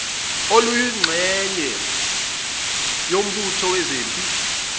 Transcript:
oluyingxenye yombutho wezempi